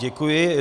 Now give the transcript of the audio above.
Děkuji.